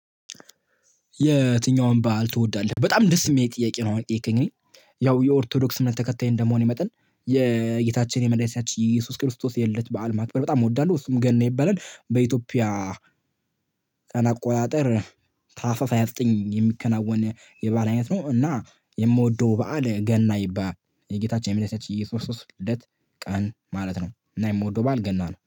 የትኛውም በዓል ትወዳለህ? በጣም ደስ የሚል ጥያቄ ነው አሁን የጠየከኝ እኔን ያው የኦርቶዶክስ እምነት ተከታይ እንደመሆኔ መጠን የጌታችን የመድኃኒታችን ኢየሱስ ክርስቶስ የልደት በዓል ማክበር በጣም እወዳለሁ እሱም ገና ይባላል በኢትዮጵያ። ቀን አቆጣጠር ታህሳስ ሃያ ዘጠኝ የሚከናወን የበአል አይነት ነው። እና የምወደው በዓል ገና ይባላል የጌታችን የመድኃኒታችን የኢየሱስ ክርስቶስ ልደት ቀን ማለት ነው። እና የምወደው በዓል ገና ነው